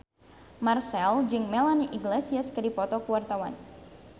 Marchell jeung Melanie Iglesias keur dipoto ku wartawan